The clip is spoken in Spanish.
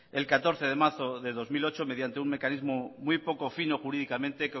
el catorce de marzo del dos mil ocho mediante un mecanismo muy poco fino jurídicamente